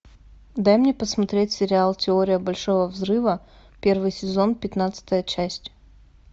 дай мне посмотреть сериал теория большого взрыва первый сезон пятнадцатая часть